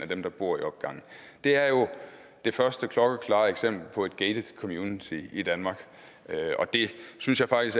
dem der bor i opgangen er jo det første klokkeklare eksempel på et gatet community i danmark og jeg synes at folk